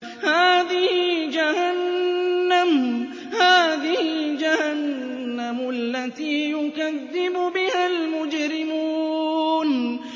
هَٰذِهِ جَهَنَّمُ الَّتِي يُكَذِّبُ بِهَا الْمُجْرِمُونَ